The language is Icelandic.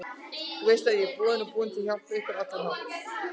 Þú veist ég er boðinn og búinn til að hjálpa ykkur á allan hátt.